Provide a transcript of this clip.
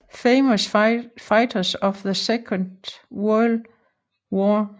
Famous Fighters of the Second World War